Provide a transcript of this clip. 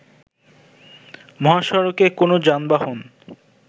মহাসড়কে কোন যানবাহন